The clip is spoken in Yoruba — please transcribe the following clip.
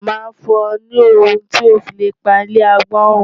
Màá fún ọ ní ohun tí o lè fi pa ilé agbọ́n run.